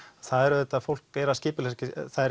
það er auðvitað fólk er að skipuleggja sig